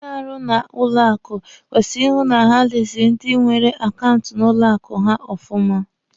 Ndị na-arụ na banki kwesịrị ịhụ na ha leziri ndi nwere akaụntụ na banki ha ọfụma.